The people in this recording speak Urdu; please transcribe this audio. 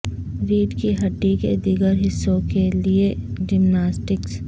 ریڑھ کی ہڈی کے دیگر حصوں کے لئے جمناسٹکس